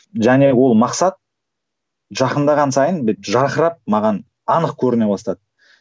және ол мақсат жақындаған сайын жарқырап маған анық көріне бастады